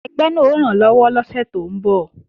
Ẹgbẹ́ náà ó rànlọ́wọ́ lọ́sẹ̀ tó ń bọ̀